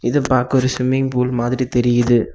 இது பாக்க ஒரு ஸ்விம்மிங் பூல் மாதிரி தெரியுது.